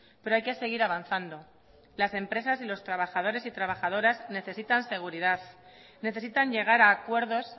pero hay que seguir avanzando las empresas y los trabajadores y trabajadoras necesitan seguridad necesitan llegar a acuerdos